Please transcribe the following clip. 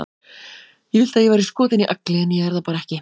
Ég vildi að ég væri skotin í Agli, en ég er það bara ekki.